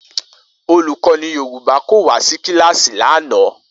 Olukọni Yoruba ko wa si kilasi lana.